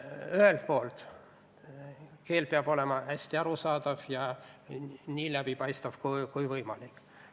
Ühelt poolt keel peab olema hästi arusaadav ja nii läbipaistev kui võimalik.